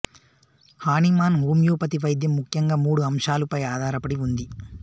Hahnemann homeopathy వైద్యం ముఖ్యం గా మూడు అంశాలు పై ఆధారపడి ఉంది